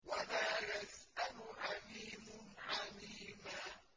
وَلَا يَسْأَلُ حَمِيمٌ حَمِيمًا